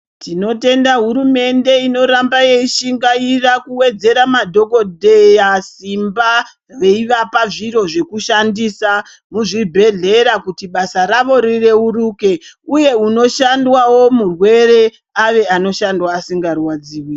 Tinotenda hurumende inoramaba yeishingaira kuwedzera madhogodheya simba, veivapa zviro zvekushandisa muzvibhedhera kuti basa ravo rireruke, uye unoshandwawo murwere, ave anoshandwa asingarwadziwi.